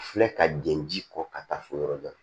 Filɛ ka jɛn ji kɔ ka taa fɔ yɔrɔ dɔ la